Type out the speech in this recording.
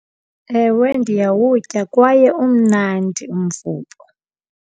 Ewe, ndiyawutya kwaye umnandi umvubo.